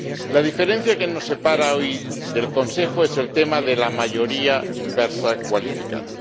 La diferencia que nos separa hoy del Consejo es el tema de la mayoría inversa cualificada.